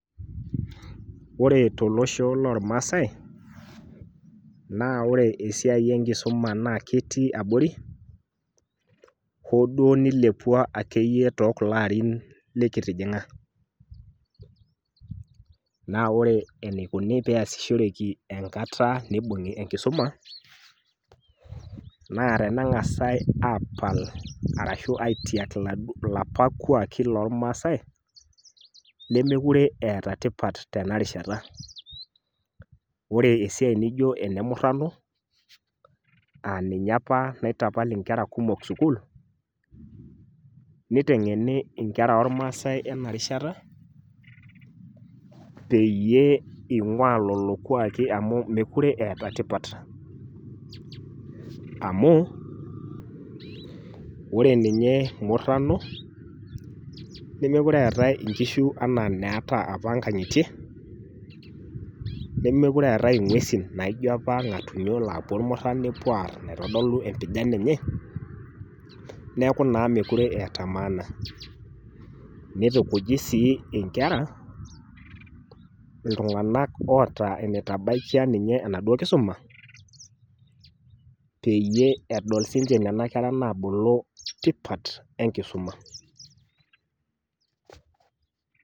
Ore tolosho lolmaasai naa ore esiai enkisuma naa ketii abori hooduo neilepua akeiye tookulo arin likitijing'a. Naa ore eneikuni peeasishoreki enkata neibung'i enkisuma naa teneng'as aapal arashu aitiak laduo, lapa kuaaki lolmaasai lemekure eeta tipat tenarishata. Ore esiai nijo enemurrano aaninye apa naitapal inkera kumok sukul, neiteng'eni inkera ormaasai ena rishata peyie eing'uaa lolo kuaaki amu mekure eeta tipat. Amu ore ninye murrano nemekure eetai inkishu anaa neata apa ngang'itie nemekure eetai ing'uesin naijo apa ilng'atunyo laapuo irmurran nepuo aarr naitodolu empijan enye neaku naa mekure eeta  maana. Neitukuji sii inkera iltung'anak oota enetabaikia ninye enaduo kisuma peyie edol siinche nena kera naabulu tipat enkisuma.